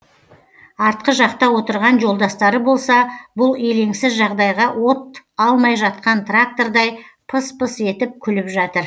артқы жақта отырған жолдастары болса бұл еленсіз жағдайға от алмай жатқан трактордай пыс пыс етіп күліп жатыр